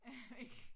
Jeg ved ik